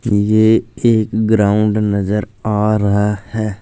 ये एक ग्राउंड नजर आ रहा है।